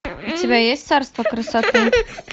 у тебя есть царство красоты